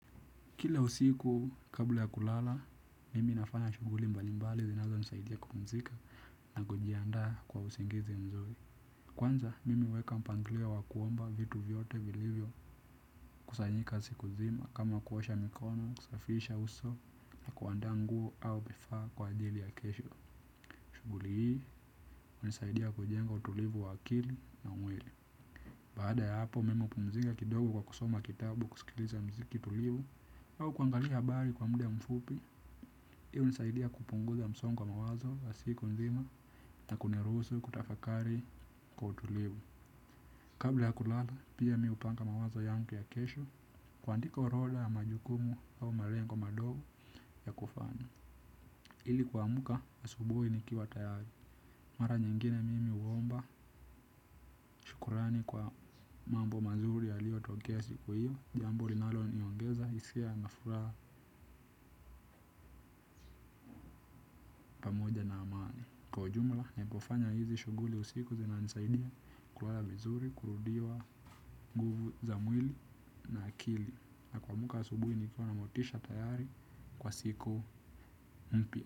Kila usiku kabla ya kulala, mimi nafanya shughuli mbalimbali zinazonisaidia kupumzika na kujiandaa kwa usingizi mzuri. Kwanza, mimi huweka mpangilio wa kuomba vitu vyote vilivyokusanyika siku nzima kama kuosha mikono, kusafisha uso na kuandaa nguo au vifaa kwa ajili ya kesho. Shughuli hii, hunisaidia kujenga utulivu wa akili na mwili. Baada ya hapo mimi hupumzika kidogo kwa kusoma kitabu, kusikiliza miziki tulivu au kuangalia habari kwa muda mfupi. Pia hunisaidia kupunguza msongo wa mawazo ya siku nzima na kunihusu kutafakari kwa utulivu. Kabla ya kulala, pia mi hupanga mawazo yangu ya kesho kuandika orodha ya majukumu au malengo madogo ya kufanya ili kuamka asubuhi nikiwa tayari. Mara nyingine mimi huomba shukrani kwa mambo mazuri yaliotokea siku hiyo, jambo linaloniongeza hisia na furaha pamoja na amani. Kwa jumla, ninapofanya hizi shughuli usiku zinanisaidia kulala vizuri, kurudiwa nguvu za mwili na akili. Na kuamka asubuhi nikiwa na motisha tayari kwa siku mpya.